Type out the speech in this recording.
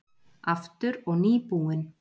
Aftur og nýbúinn.